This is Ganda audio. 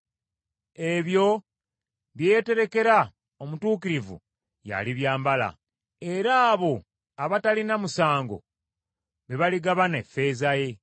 ebyo bye yeeterekera omutuukirivu y’alibyambala, era abo abatalina musango be baligabana effeeza ye.